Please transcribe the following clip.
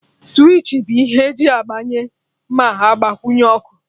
Switchi bụ ihe eji agbanye ma agbanyụ ọkụ